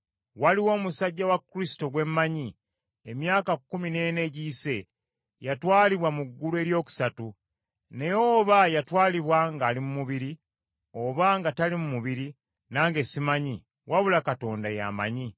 Waliwo omusajja wa Kristo gwe mmanyi, emyaka kkumi n’ena egiyise yatwalibwa mu ggulu eryokusatu. Naye oba yatwalibwa ng’ali mu mubiri, oba nga tali mu mubiri, nange simanyi, wabula Katonda ye amanyi.